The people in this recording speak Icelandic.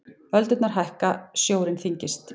Öldurnar hækka, sjórinn þyngist.